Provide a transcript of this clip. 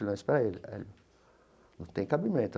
Espera aí, Hélio, não tem cabimento.